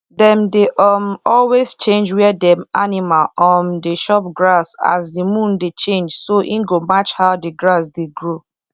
dem dey um always change where dem animal um dey chop grass as the moon dey change so e go match how the grass dey grow